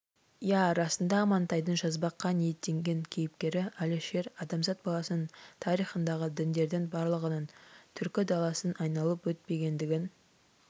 иә расында амантайдың жазбаққа ниеттенген кейіпкері әлішер адамзат баласының тарихындағы діндердің барлығының түркі даласын айналып өтпегендігін